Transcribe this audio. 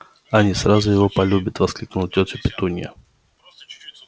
они сразу его полюбят воскликнула тётя петунья